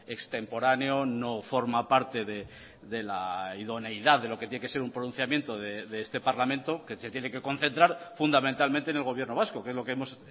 extemporáneo no forma parte de la idoneidad de lo que tiene que ser un pronunciamiento de este parlamento que se tiene que concentrar fundamentalmente en el gobierno vasco que es lo que hemos